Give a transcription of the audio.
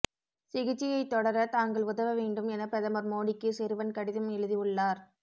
சிகிச்சையைத் தொடர தாங்கள் உதவ வேண்டும் என பிரதமர் மோடிக்கு சிறுவன் கடிதம் எழுதி உள்ளார்